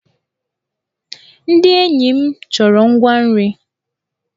Ndị enyi m chọrọ ngwa nri.